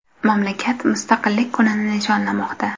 Mamlakat Mustaqillik kunini nishonlamoqda.